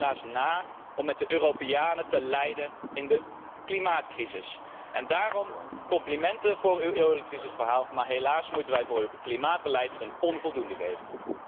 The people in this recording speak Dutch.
U liet helaas na om de Europeanen te leiden in de klimaatcrisis. Daarom complimenten voor het eurocrisisverhaal, maar helaas moeten wij u voor het klimaatbeleid een onvoldoende geven.